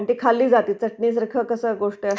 आणि ती खाल्ली जाते चटणी सारखं कसं गोष्ट आहे...